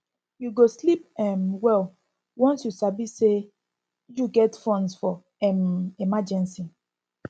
you go sleep um well once you sabi say you get funds for um emergency